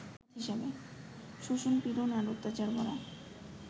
শোষণ-পীড়ন আর অত্যাচারভরা